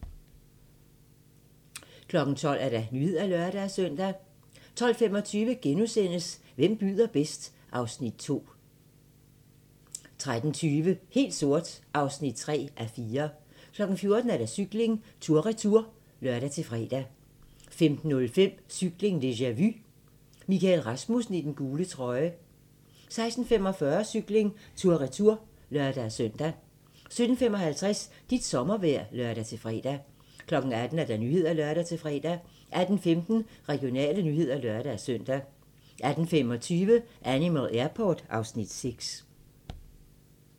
12:00: Nyhederne (lør-søn) 12:25: Hvem byder bedst? (Afs. 2)* 13:20: Helt sort (3:4) 14:00: Cykling: Tour Retour (lør-fre) 15:05: Cykling: Tour deja-vu - Michael Rasmussen i den gule trøje 16:45: Cykling: Tour Retour (lør-søn) 17:55: Dit sommervejr (lør-fre) 18:00: Nyhederne (lør-fre) 18:15: Regionale nyheder (lør-søn) 18:25: Animal Airport (Afs. 6)